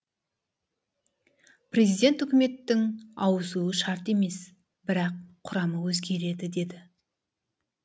президент үкіметтің ауысуы шарт емес бірақ құрамы өзгереді деді